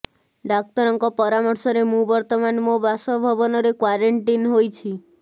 ଡାକ୍ତରଙ୍କ ପରାମର୍ଶରେ ମୁଁ ବର୍ତ୍ତମାନ ମୋ ବାସଭବନରେ କ୍ୱାରେଣ୍ଟିନ୍ ହୋଇଛି